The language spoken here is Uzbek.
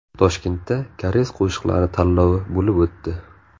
Toshkentda Koreys qo‘shiqlari tanlovi bo‘lib o‘tdi.